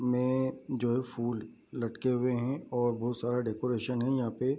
में जो फूल लटके हुए है और बहुत सारा डेकोरेशन है यहाँ पे।